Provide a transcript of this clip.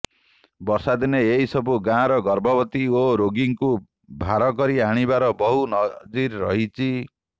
ବର୍ଷା ଦିନେ ଏହି ସବୁ ଗାଁର ଗର୍ଭବତୀ ଓ ରୋଗୀଙ୍କୁ ଭାର କରି ଆଣିବାର ବହୁ ନଜିର ରହିଛି